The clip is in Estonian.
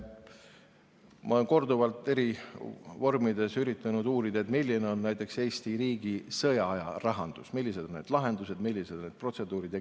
Ma olen korduvalt eri vormides üritanud uurida, milline on näiteks Eesti riigi sõjaaja rahandus, millised on lahendused ja protseduurid.